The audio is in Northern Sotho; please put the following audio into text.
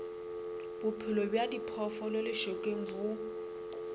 bophelo bja diphoofolo lešokeng bo